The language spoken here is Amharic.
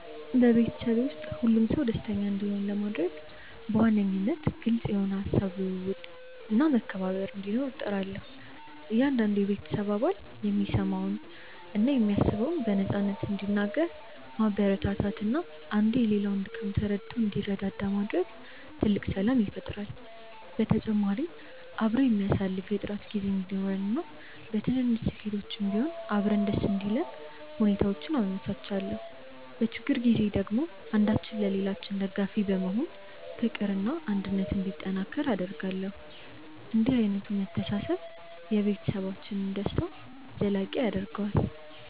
በቤተሰቤ ውስጥ ሁሉም ሰው ደስተኛ እንዲሆን ለማድረግ በዋነኝነት ግልጽ የሆነ የሃሳብ ልውውጥና መከባበር እንዲኖር እጥራለሁ። እያንዳንዱ የቤተሰብ አባል የሚሰማውንና የሚያስበውን በነፃነት እንዲናገር ማበረታታትና አንዱ የሌላውን ድካም ተረድቶ እንዲረዳዳ ማድረግ ትልቅ ሰላም ይፈጥራል። በተጨማሪም አብሮ የሚያሳልፍ የጥራት ጊዜ እንዲኖረንና በትንንሽ ስኬቶችም ቢሆን አብረን ደስ እንዲለን ሁኔታዎችን አመቻቻለሁ። በችግር ጊዜ ደግሞ አንዳችን ለሌላችን ደጋፊ በመሆን ፍቅርና አንድነት እንዲጠናከር አደርጋለሁ። እንዲህ ዓይነቱ መተሳሰብ የቤተሰብን ደስታ ዘላቂ ያደርገዋል።